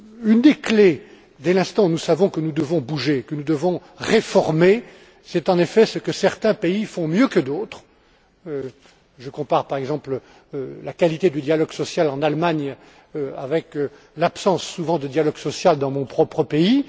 Une des clés, dès l'instant où nous savons que nous devons bouger, que nous devons réformer, c'est en effet ce que certains pays font mieux que d'autres je compare, par exemple, la qualité du dialogue social en Allemagne avec l'absence, souvent, de dialogue social dans mon propre pays.